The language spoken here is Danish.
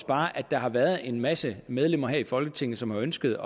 bare at der har været en masse medlemmer her i folketinget som har ønsket